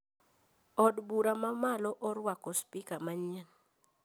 Od bura ma malo orwako spika manyien